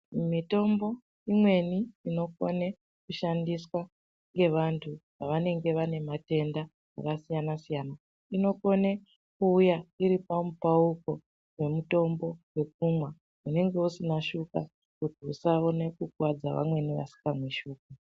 Mitombo imweni inokone kushandiswa ngaantu vanenge vane matenda akasiyana -siyana inokona kuuya iri pamupauko pemitombo yekumwa unenge usina shuga kuti usaona kukuwadza vamwe vanenge vasina shuga.